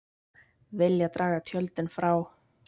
Vilja draga tjöldin frá